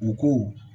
U ko